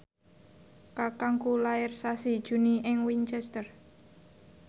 kakangku lair sasi Juni ing Winchester